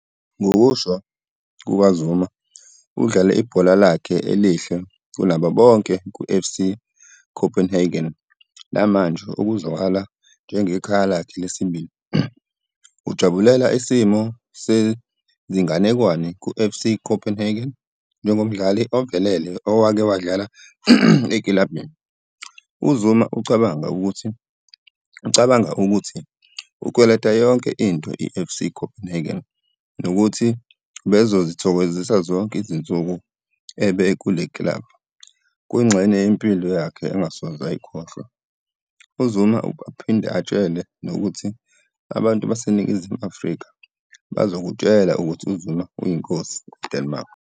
Ngokusho kukaZuma udlale ibhola lakhe elihle kunabo bonke kuFC Copenhagen namanje okuzwakala njengekhaya lakhe lesibili. Ujabulela isimo sezinganekwane kuFC Copenhagen njengomdlali ovelele owake wadlala ekilabhini. UZuma ucabanga ukuthi ukweleta yonke into iFC Copenhagen nokuthi ubezithokozisa zonke izinsuku eba kule kilabhu. Kuyingxenye yempilo yakhe angasoze ayikhohlwa. UZuma uphinde atshele nokuthi "Abantu baseNingizimu Afrika bazokutshela ukuthi uZuma uyinkosi eDenmark".